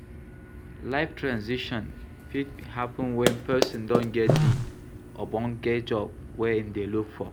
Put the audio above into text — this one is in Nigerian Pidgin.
Life transition fit happen when person don get di ogbonge job wey im dey look for